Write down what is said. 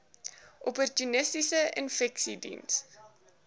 opportunistiese infeksies diens